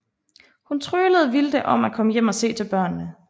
Hun tryglede Wilde om at komme hjem og se til børnene